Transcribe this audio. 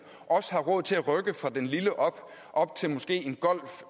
også har råd til at rykke fra den lille up op til måske en golf